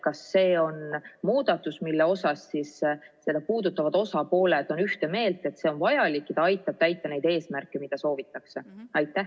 Kas see on muudatus, milles puudutatud osapooled on ühte meelt, et see on vajalik ja aitab täita neid eesmärke, mida soovitakse?